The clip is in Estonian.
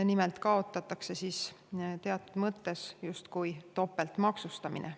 Nimelt kaotatakse teatud mõttes justkui topeltmaksustamine.